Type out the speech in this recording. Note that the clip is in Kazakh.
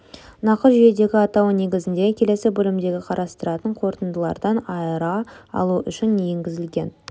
нақыт жүйедегі атауы негізіндегі келесі бөлімде қарастыратын қорытындылардан айыра алу үшін енгізілген